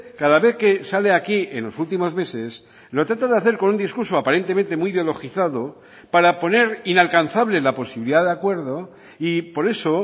cada vez que sale aquí en los últimos meses lo trata de hacer con un discurso aparentemente muy ideologizado para poner inalcanzable la posibilidad de acuerdo y por eso